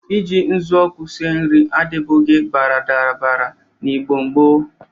Ị ji ụzụọkụ sie nri adịbụghị baradabara n'Igbo gboo.